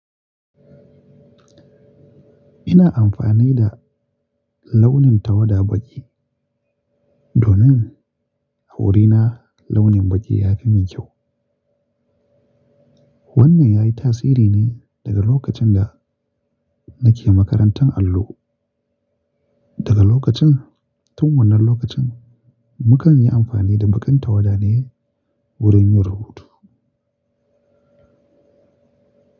Ina amfani da launin tawada baƙi domin a wurina launin baƙi ya fi min kyau. Wannan yayi tasiri ne daga lokacin da nake makarantan allo. Daga lokacin tun wannan lokacin mukan yi amfani da baƙin tawada ne wurin yin rubutu.